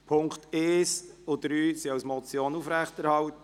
Die Punkte1 und 3 werden als Motion aufrechterhalten.